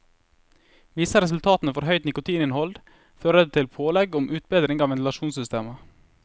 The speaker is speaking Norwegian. Viser resultatene for høyt nikotininnhold, fører det til pålegg om utbedring av ventilasjonssystemet.